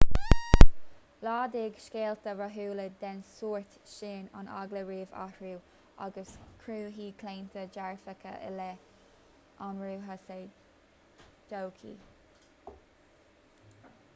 laghdaigh scéalta rathúla den sórt sin an eagla roimh athrú agus cruthaíodh claontaí dearfacha i leith athruithe sa todhchaí